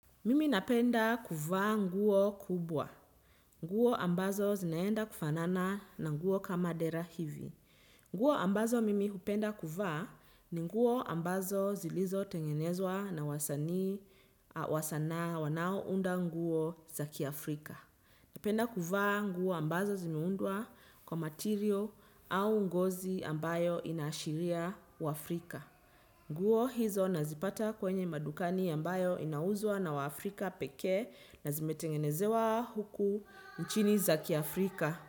Mimi napenda kuvaa nguo kubwa. Nguo ambazo zinaenda kufanana na nguo kama dera hivi. Nguo ambazo mimi hupenda kuvaa ni nguo ambazo zilizotengenezwa na wasanii wa sanaa wanaounda nguo za kiafrika. Napenda kuvaa nguo ambazo zimeundwa kwa material au ngozi ambayo inaashiria uafrika. Nguo hizo nazipata kwenye madukani ambayo inauzwa na waafrika pekee na zimetengenezewa huku nchini za kiafrika.